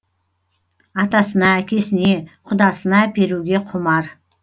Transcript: атасына әкесіне құдасына әперуге құмар